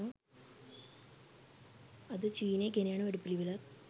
අද චීනය ගෙනයන වැඩපිළිවෙළත්